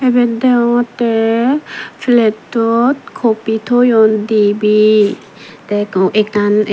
ebot degongotte plattot coffee tooyon dibey te ekko ekan.